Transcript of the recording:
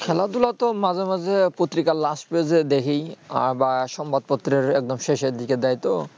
খেলা ধুলা তো মাঝে মাঝে পত্রিকা last page এ দেখি আবার সংবাদ পত্রে এর একদম শেষে দিকে দেয় তো